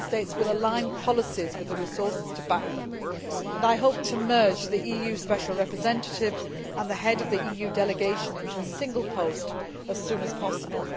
Member States will align policies with the resources to back them, and I hope to merge the EU Special Representative and the Head of the EU Delegation into a single post as soon as possible.